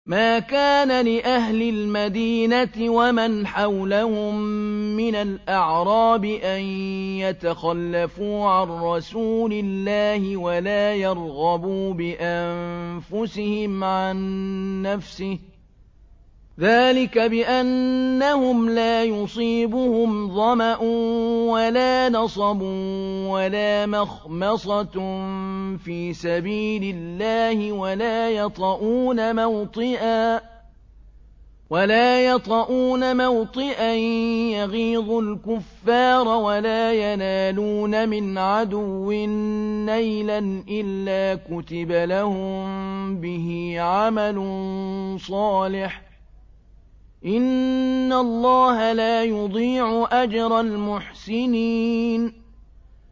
مَا كَانَ لِأَهْلِ الْمَدِينَةِ وَمَنْ حَوْلَهُم مِّنَ الْأَعْرَابِ أَن يَتَخَلَّفُوا عَن رَّسُولِ اللَّهِ وَلَا يَرْغَبُوا بِأَنفُسِهِمْ عَن نَّفْسِهِ ۚ ذَٰلِكَ بِأَنَّهُمْ لَا يُصِيبُهُمْ ظَمَأٌ وَلَا نَصَبٌ وَلَا مَخْمَصَةٌ فِي سَبِيلِ اللَّهِ وَلَا يَطَئُونَ مَوْطِئًا يَغِيظُ الْكُفَّارَ وَلَا يَنَالُونَ مِنْ عَدُوٍّ نَّيْلًا إِلَّا كُتِبَ لَهُم بِهِ عَمَلٌ صَالِحٌ ۚ إِنَّ اللَّهَ لَا يُضِيعُ أَجْرَ الْمُحْسِنِينَ